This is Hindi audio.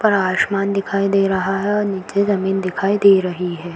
ऊपर आसमान दिखाई दे रहा है और नीचे जमीन दिखाई दे रही है।